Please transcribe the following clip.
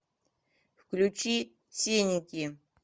включи сеники